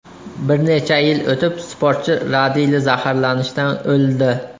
Bir necha yil o‘tib, sportchi radiyli zaharlanishdan o‘ldi.